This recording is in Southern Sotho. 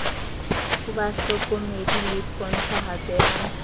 ho bahlokomedi le pontshahatso ya